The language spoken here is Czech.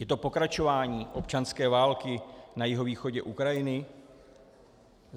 Je to pokračování občanské války na jihovýchodě Ukrajiny?